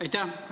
Aitäh!